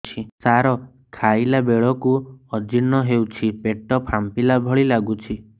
ସାର ଖାଇଲା ବେଳକୁ ଅଜିର୍ଣ ହେଉଛି ପେଟ ଫାମ୍ପିଲା ଭଳି ଲଗୁଛି